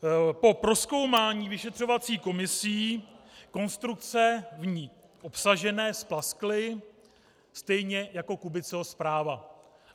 Po prozkoumání vyšetřovací komisí konstrukce v ní obsažené splaskly stejně jako Kubiceho zpráva.